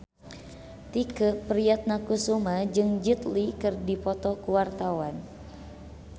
Tike Priatnakusuma jeung Jet Li keur dipoto ku wartawan